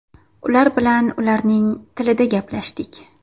Ular bilan ularning tilida gaplashdik.